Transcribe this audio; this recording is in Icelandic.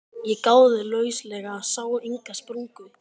Ég gáði lauslega, sá enga sprungu.